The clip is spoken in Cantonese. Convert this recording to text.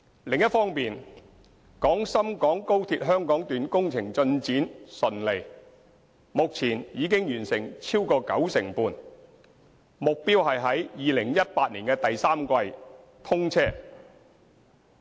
另一方面，廣深港高鐵香港段工程進展順利，目前已完成超過九成半，目標是在2018年第三季通車。